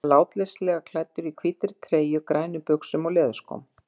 Hann var látleysislega klæddur, á hvítri treyju, grænum buxum og leðurskóm.